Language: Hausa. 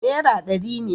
Nera dari ne